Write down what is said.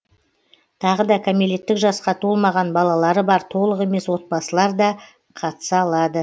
тағы да кәмелеттік жасқа толмаған балалары бар толық емес отбасылар да қатыса алады